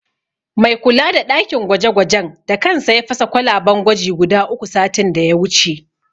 Mai kula da ɗakin gwaje-gwajen da kansa ya fasa kwalaben gwaji guda uku, satin da ya wuce.